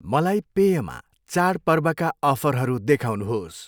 मलाई पेयमा चाडपर्वका अफरहरू देखाउनुहोस्।